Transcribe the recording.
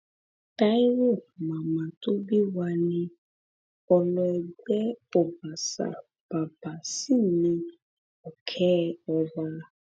taiwo màmá tó bí wa ní ọlọẹgbẹ ọbàṣà bàbà sí ní òkè ọba